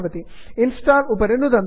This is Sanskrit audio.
इंस्टॉल इन्स्टाल् उपरि नुदन्तु